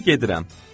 İndi gedirəm.